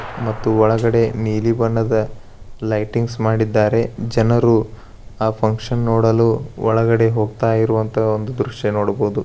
ಮತ್ತು ಒಳಗಡೆ ನೀಲಿ ಬಣ್ಣದ ಲೈಟಿಂಗ್ಸ್ ಮಾಡಿದ್ದಾರೆ ಜನರು ಆ ಫಂಕ್ಷನ್ ನೋಡಲು ಒಳಗೆ ಹೋಗ್ತಾ ಇರುವಂತಹ ಒಂದು ದ್ರಶ್ಯಾ ನೋಡಬಹುದು .